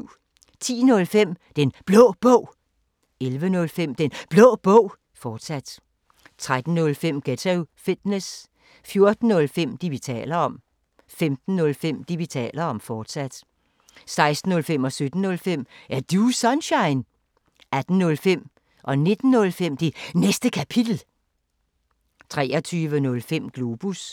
10:05: Den Blå Bog 11:05: Den Blå Bog, fortsat 13:05: Ghetto Fitness 14:05: Det, vi taler om 15:05: Det, vi taler om, fortsat 16:05: Er Du Sunshine? 17:05: Er Du Sunshine? 18:05: Det Næste Kapitel 19:05: Det Næste Kapitel, fortsat 23:05: Globus